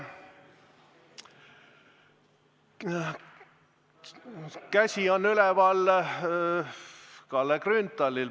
Käsi on üleval Kalle Grünthalil.